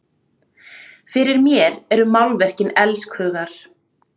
Fyrir mér eru málverkin elskhugar!